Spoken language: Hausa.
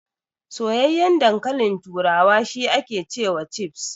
Soyayyan dankalin turawa shi ake cewa Chips.